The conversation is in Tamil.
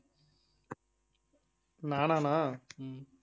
நானா அண்ணா